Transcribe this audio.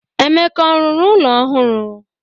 Emeka ọ rụrụ ụlọ ọhụrụ?